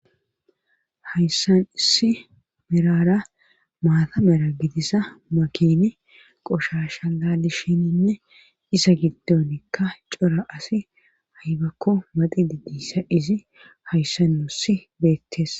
Hayssan issi miraara maatamara gidisa makini qoshasha lalishininne isa giddonikka cora asi haybakko maxi didissa izi hayssausi beettes